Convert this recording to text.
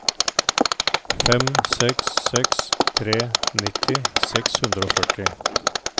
fem seks seks tre nitti seks hundre og førti